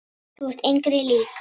Þú ert engri lík.